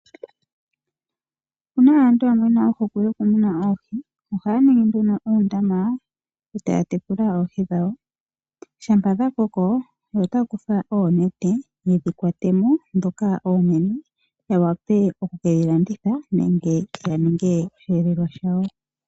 Opuna aantu yamwe yena ohokwe yoku muna oohi. Ohaya ningi uundama eta ya tekula oohi dhawo. Shampa dha koko ohaya kutha oonete yedhi kwate mo. Ndhoka oonene ohaye ke dhi landitha nenge dhi ninge dhosheelelwa shawo.